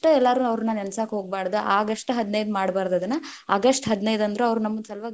ಎಲ್ಲಾರು ಅವ್ರ್ನ ನೆನಸಾಕ ಹೋಗ್ಬರ್ದ್, ಆಗಸ್ಟ್ ಹದಿನೈದ್ ಮಾಡಬಾರದ್‌ ಅದನ್ನ, ಆಗಸ್ಟ್ ಹದಿನೈದಂದ್ರು ಅವ್ರ ನಮ್‌ ಸಲುವಾಗಿ.